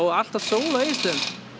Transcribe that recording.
alltaf sól á Egilsstöðum